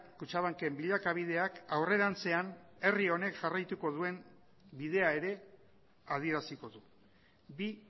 kutxabanken bilakabideak aurrerantzean herri honek jarraituko duen bidea ere adieraziko du bi